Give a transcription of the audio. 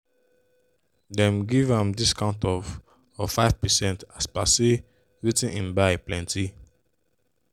them give am discount of of 5 percent as per say wetin hin buy plenty.